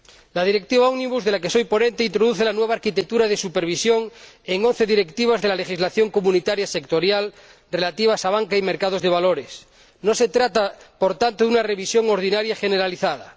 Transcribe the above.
La Directiva ómnibus, de la que soy ponente, introduce la nueva arquitectura de supervisión en once directivas de la legislación comunitaria sectorial relativas a banca y mercados de valores. No se trata, por tanto, de una revisión ordinaria generalizada.